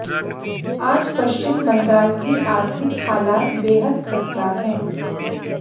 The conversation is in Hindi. आज पश्चिम बंगाल की आर्थिक हालात बेहद खस्ता है